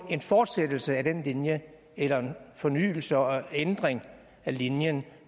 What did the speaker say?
fortsættelse af den linje eller en fornyelse og en ændring af linjen